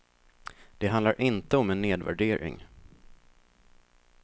Det handlar inte om en nedvärdering.